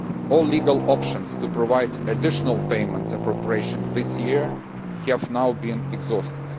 All legal options to provide additional payment appropriations this year have now been exhausted.